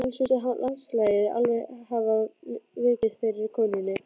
Annars virtist landslagið alveg hafa vikið fyrir konunni.